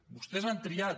vostès han triat